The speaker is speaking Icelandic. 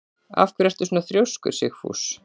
Af hverju ertu svona þrjóskur, Sigfús?